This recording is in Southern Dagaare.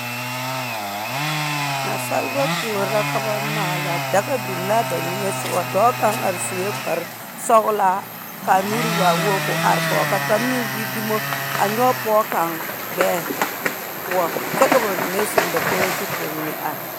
Naasaaba kuor la ka ba maala daga biŋ la a ba niŋeŋ sɔgaŋ dɔɔ kaŋ are sue kpar sɔglaa kaa nuuri waa wogi koo are koge. Kaa kaŋ meŋ gbi dumo a nyɔge pɔge kaŋ gbɛɛ poɔ kyɛ ka ba mine zeŋ dakogire zu poɔ, ka ba mine are.